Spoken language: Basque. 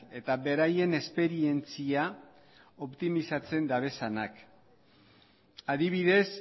eta beraien esperientzia optimizatzen dituztenak adibidez